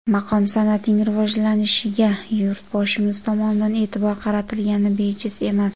Maqom san’atining rivojlanishiga Yurtboshimiz tomonidan e’tibor qaratilgani bejiz emas.